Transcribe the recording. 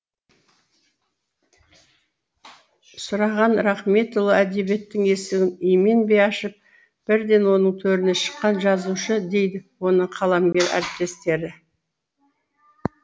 сұраған рахметұлы әдебиеттің есігін именбей ашып бірден оның төріне шыққан жазушы дейді оны қаламгер әріптестері